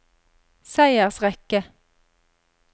seiersrekke